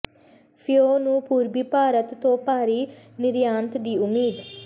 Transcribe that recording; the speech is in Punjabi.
ਫਿਓ ਨੂੰ ਪੂਰਬੀ ਭਾਰਤ ਤੋਂ ਭਾਰੀ ਨਿਰਯਾਤ ਦੀ ਉਮੀਦ